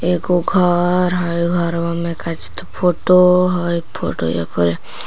एगो घर है घरवा में काची तो फोटो है फोटैया पर--